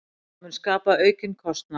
Það mun skapa aukinn kostnað.